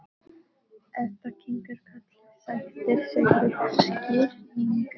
Edda kinkar kolli, sættir sig við skýringuna.